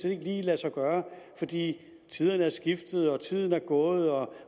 ikke lige lade sig gøre fordi tiderne er skiftet og tiden er gået og